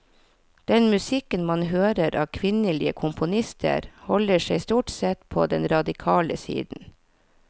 Den musikken man hører av kvinnelige komponister holder seg stort sett på den radikale siden.